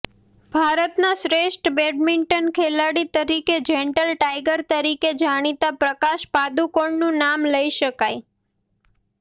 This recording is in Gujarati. ભારતના શ્રેષ્ઠ બેડમિન્ટન ખેલાડી તરીકે જેન્ટલ ટાઈગર તરીકે જાણીતા પ્રકાશ પાદુકોણનું નામ લઈ શકાય